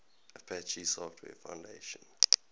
apache software foundation